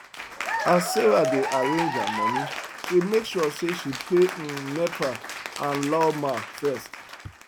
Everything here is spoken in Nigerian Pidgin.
as sarah dey arrange her money she make sure say she pay um nepa and lawma first